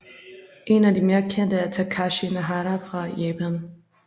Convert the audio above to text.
En af de mere kendte er Takashi Naraha fra Japan